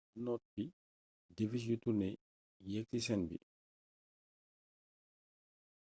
ba noppi devish yu turné yeek ci scène bi